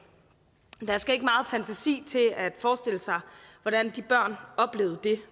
der skal ikke meget fantasi til at forestille sig hvordan de børn oplevede det